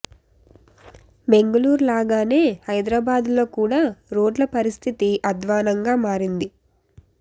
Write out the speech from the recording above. బెంగళూర్ లాగానే హైదరబాద్లో కూడా రోడ్ల పరిస్థితి ఆద్వానంగా మారింది